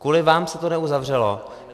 Kvůli vám se to neuzavřelo.